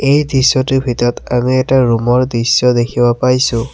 এই দৃশ্যটোৰ ভিতৰত আৰু এটা ৰুমৰ দৃশ্য দেখিবলৈ পাইছোঁ।